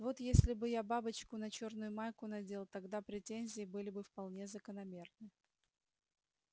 вот если бы я бабочку на чёрную майку надел тогда претензии были бы вполне закономерны